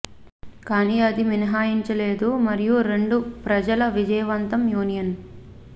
కానీ అది మినహాయించి లేదు మరియు రెండు ప్రజల విజయవంతం యూనియన్